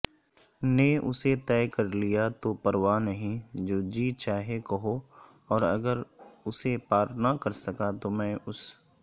نے اسے طے کرلیا تو پرواہ نہیں جوجی چاہے کہواوراگراسے پار نہ کرسکا تومیں اس